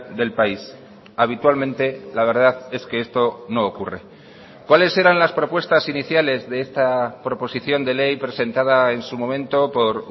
del país habitualmente la verdad es que esto no ocurre cuáles eran las propuestas iniciales de esta proposición de ley presentada en su momento por